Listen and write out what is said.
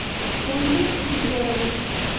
ольгой егоровой